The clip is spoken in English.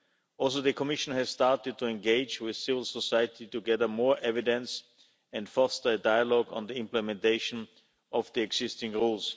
Also, the Commission has started to engage with civil society to gather more evidence and foster dialogue on the implementation of the existing rules.